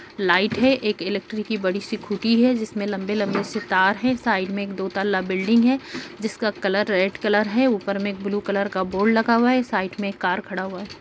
Light है एक electric की बड़ी सी खुटी है जिसमे लंबे-लंबे से तार है साइड में एक दो तल्ला बिल्डिंग है जिसका कलर रेड कलर है ऊपर में एक ब्लू कलर का बोर्ड लगा हुआ है साइड में एक कार खड़ा हुआ है।